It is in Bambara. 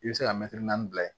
I bɛ se ka naani bila yen